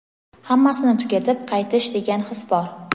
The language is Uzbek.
hammasini tugatib qaytish degan his bor.